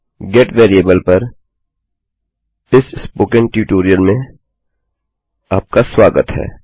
get variable पर इस spoken tutorial में आपका स्वागत है